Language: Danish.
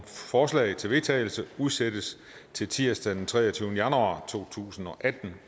forslag til vedtagelse udsættes til tirsdag den treogtyvende januar to tusind og atten